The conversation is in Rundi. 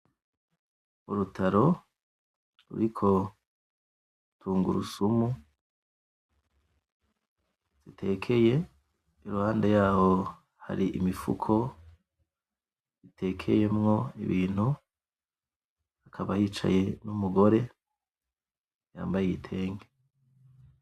Urutaro ruriko tungurusumu zitekeye, iruhande yaho hari imifuko itekeyemwo ibintu, hakaba hicaye n’umugore yambaye igitenge.